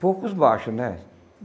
Poucos baixos, né?